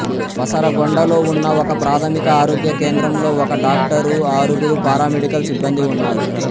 పసరగొండలో ఉన్న ఒకప్రాథమిక ఆరోగ్య కేంద్రంలో ఒక డాక్టరు ఆరుగురు పారామెడికల్ సిబ్బందీ ఉన్నారు